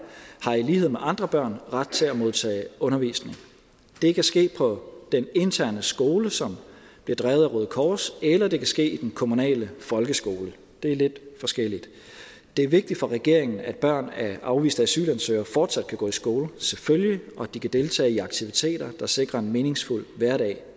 har i lighed med andre børn ret til at modtage undervisning det kan ske på den interne skole som bliver drevet af røde kors eller det kan ske i den kommunale folkeskole det er lidt forskelligt det er vigtigt for regeringen at børn af afviste asylansøgere selvfølgelig fortsat kan gå i skole og at de kan deltage i aktiviteter der sikrer en meningsfuld hverdag